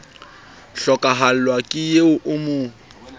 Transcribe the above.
hlokahallwa ke eo o mo